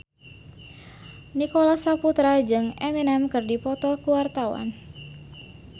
Nicholas Saputra jeung Eminem keur dipoto ku wartawan